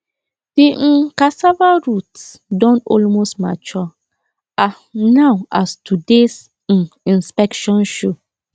the um cassava roots don almost mature um now as todays um inspection show